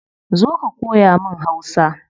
Zo ka koya mun hausa